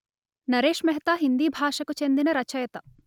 నరేశ్ మెహతా హిందీ భాషకు చెందిన రచయిత